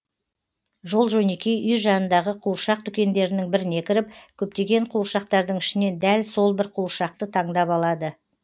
жол жөнекей үй жанындағы қуыршақ дүкендерінің біріне кіріп көптеген қуыршақтардың ішінен дәл сол бір қуыршақты таңдап алады